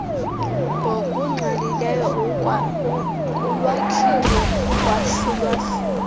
ngokungqalileyo kulwakhiwo ukwahlulwahlulwa